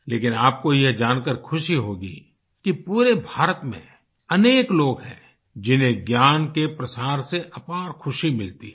लेकिन आपको ये जानकार खुशी होगी कि पूरे भारत में अनेक लोग हैं जिन्हें ज्ञान के प्रसार से अपार खुशी मिलती है